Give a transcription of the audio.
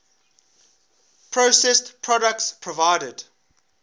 processed products provided